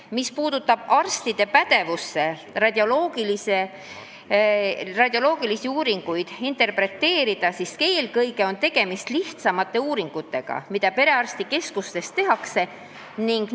Mis puudutab arstide pädevust radioloogilisi uuringuid interpreteerida, siis eelkõige tehtaks perearstikeskustes lihtsamaid uuringuid.